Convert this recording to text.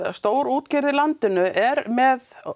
stórútgerð í landinu er með